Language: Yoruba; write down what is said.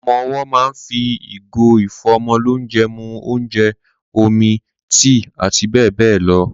Ọmọ owọ́ ma ń fi ìgò ìfọ́mọlónjẹ mu ónjẹ, omi, tíì àti bẹ́ẹ̀ bẹ́ẹ̀ lọ.